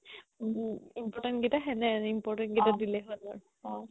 উম important কেইটা সেনেহেন important কেইটা দিলে হ'ল আৰু